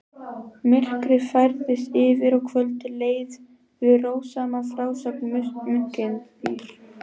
Myrkrið færðist yfir og kvöldið leið við rósama frásögn munksins.